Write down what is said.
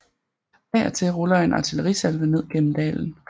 Af og til ruller en artillerisalve ned gennem dalen